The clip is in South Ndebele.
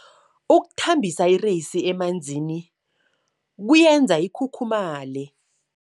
Ukuthambisa ireyisi emanzini kuyenza ikhukhumaye.